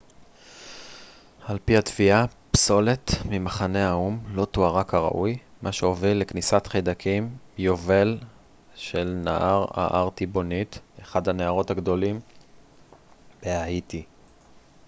על פי התביעה פסולת ממחנה האו ם לא טוהרה כראוי מה שהוביל לכניסת חיידקים יובל של נהר הארטיבוניט אחד הנהרות הגדולים בהאיטי